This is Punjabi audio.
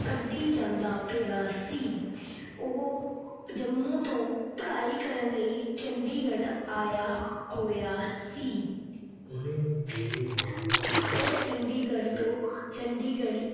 ਕੱਢੀ ਜਾਂਦਾ ਪਿਆ ਸੀ। ਉਹ ਜੰਮੂ ਤੋਂ ਪੜ੍ਹਾਈ ਕਰਨ ਚੰਡੀਗੜ੍ਹ ਆਇਆ ਹੋਇਆ ਸੀ। ਉਹ ਚੰਡੀਗੜ੍ਹ ਤੋਂ ਚੰਡੀਗੜ੍ਹ